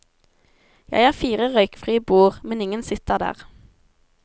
Jeg har fire røykfrie bord, men ingen sitter der.